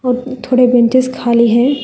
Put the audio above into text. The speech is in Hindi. और थोड़े बेंचेज खाली हैं।